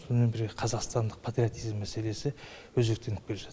сонымен бірге қазақстандық патриотизм мәселесі өзектеніп келе жатыр